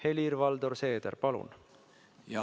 Helir-Valdor Seeder, palun!